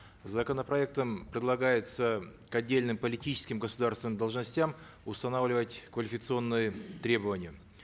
законопроектом предлагается к отдельным политическим государственным должностям устанавливать квалификационные требования